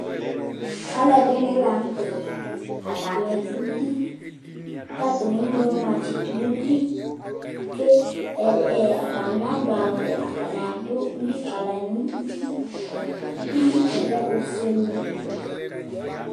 ɑlωɑḍ ɖiŋi lɑɲtɛ ɑtɑɲiɖωti kɑtɑni ɛŋloma tsiɖω ɲωglĩ ƙɛ ɑtɲi ɲɑɗωwω ɑtɑɲiɑ ɗω liƙɑṅωti likɑ lɛ õfωɛlɛ